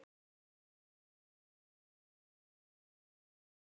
Hvað ertu að gera, maður?